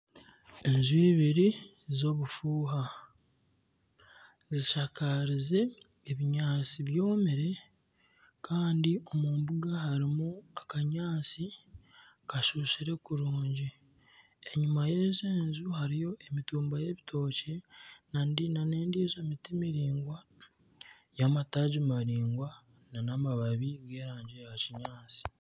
Enju ibiri z'obufuuha zishakarize ebinyaatsi byomire kandi omu mbuga harimu akanyaatsi kashushire kurungi. Enyima y'egi enju hariyo emitumba y'ebitokye na nendiijo miti miringwa y'amataagi maraingwa n'amababi g'erangi ya kinyaatsi.